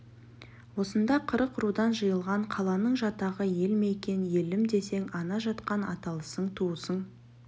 осында қырық рудан жиылған қаланың жатағы ел ме екен елім десең ана жатқан аталасың туысың